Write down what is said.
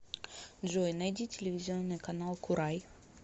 джой найди телевизионный канал курай